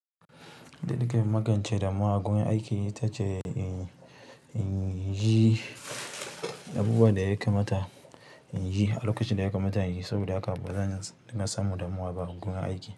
Yanda nake magance damuwa agurin aiki itace inyi abubuwan da ya kamata inyi a lokacin da ya kamata inyi saboda haka bazan dinga samun damuwa ba agun aiki.